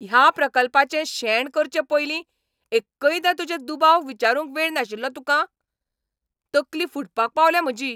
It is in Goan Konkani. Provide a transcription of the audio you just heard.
ह्या प्रकल्पाचें शेण करचे पयलीं एक्कयदां तुजे दुबाव विचारूंक वेळ नाशिल्लो तुका? तकली फुटपाक पावल्या म्हजी.